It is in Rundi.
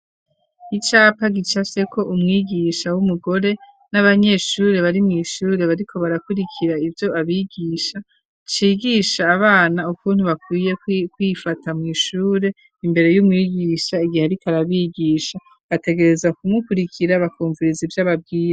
Icapa gicafyeko umwigisha w'umugore n'abanyeshuri bari mu ishure bariko barakurikira ibyo abigisha cigisha abana ukuntu bakwiye kwifata mu ishure imbere y'umwigisha igihe rikarabigisha bategereza kumukurikira bakumvirizi by'ababwiryi.